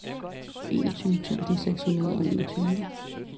enogtyve tusind seks hundrede og enogtyve